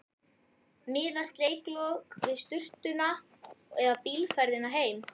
Miðast leikslok við sturtuna eða bílferðina heim?